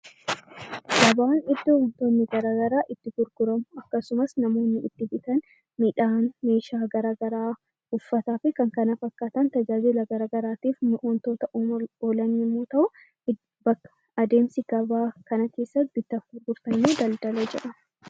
Gabaan iddoo wantoonni garaagaraa itti gurguraman akkasuma namoonni midhaan , meeshaalee garaagaraa , uffataa fi kan kana fakkaatan tajaajila garaagaraatiif wantoota uumamuuf oolan yommuu ta'u, adeemsa ganaa kana keessatti taasifamu daldala jedhama